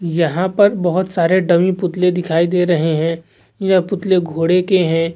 यहाँ पर बोहत सारे डमी पुतले दिखाई दे रहे है यह पुतले घोड़े के है।